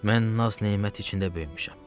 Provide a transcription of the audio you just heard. Mən naz-nemət içində böyümüşəm.